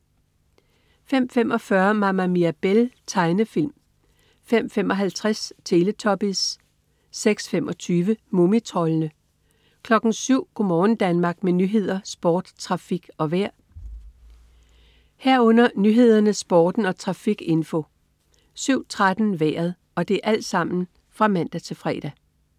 05.45 Mama Mirabelle. Tegnefilm (man-fre) 05.55 Teletubbies (man-fre) 06.25 Mumitroldene. Tegnefilm (man-fre) 07.00 Go' morgen Danmark. Med nyheder, sport, trafik og vejr (man-fre) 07.00 Nyhederne, Sporten og trafikinfo (man-fre) 07.13 Vejret (man-fre)